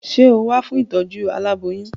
Sé o wá fún ìtọ́jú aláboyún?